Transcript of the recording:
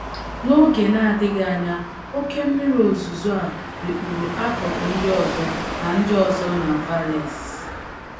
N’oge na - adịghị anya, oké mmiri ozuzo a rikpuru akụkụ ndị ọzọ na ndị ọzọ na Valais.